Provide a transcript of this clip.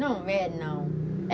Não é, não.